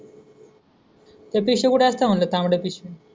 ती पिशवी कुठ असत म्हणलं तांबड पिशवी.